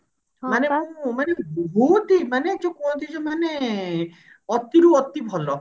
ମାନେ ବହୁତ ହିଁ ମାନେ ଯୋଉ କୁହନ୍ତି ମାନେ ଅତି ରୁ ଅତି ଭଲ